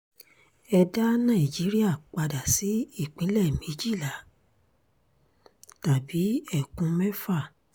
ẹ dá nàìjíríà padà sí ìpínlẹ̀ méjìlá tàbí ẹkùn mẹ́fà